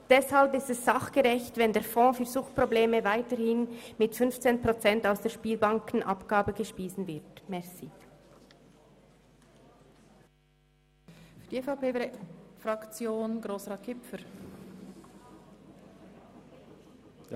Deshalb ist es sachgerecht, wenn der Fonds für Suchtprobleme weiterhin mit 15 Prozent aus der Spielbankenabgabe gespeist wird.